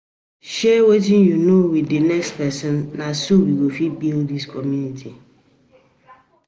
um um Share wetin you know with the next person; na so we go fit build dis community.